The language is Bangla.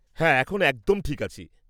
হ্যাঁ, এখন একদম ঠিক আছি।